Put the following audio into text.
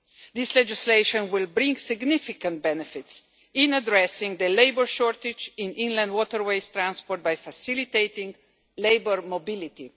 This legislation will bring significant benefits in addressing the labour shortage in inland waterways transport by facilitating labour mobility.